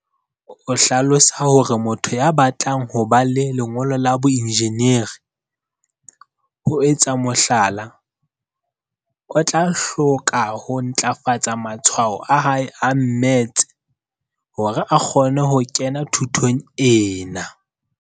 O hlalosa hore motho ya batlang ho ba le lengolo la boenjineri, ho etsa mohlala, o tla hloka ho ntlafatsa matshwao a hae a mmetse hore a kgone ho kena thutong ena.